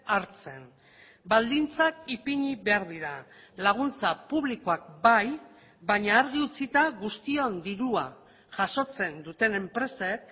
hartzen baldintzak ipini behar dira laguntza publikoak bai baina argi utzita guztion dirua jasotzen duten enpresek